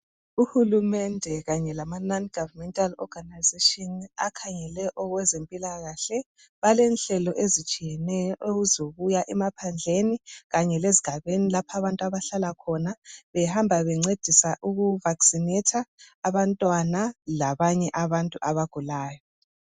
uhulumende kanye lama Non Governmental Organization akhangele okwezempilakahle balenhlelo ezitshiyeneyo ezokuya emaphandleni kanye lezigabeni abantu lapha abahlala khona behamba bencedisa uku vaccinator abantwana labanye abantu abagulayo